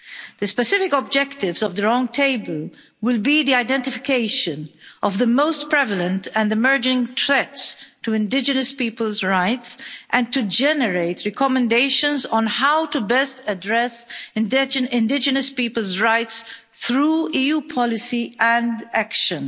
The specific objectives of the round table will be the identification of the most prevalent and emerging threats to indigenous people's rights, and to generate recommendations on how to best address indigenous people's rights through EU policy and action.